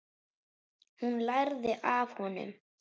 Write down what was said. Hún lærði af honum.